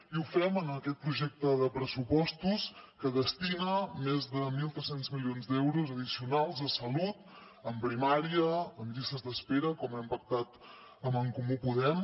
i ho fem en aquest projecte de pressupostos que destina més de mil tres cents milions d’euros addicionals a salut a primària a llistes d’espera com hem pactat amb en comú podem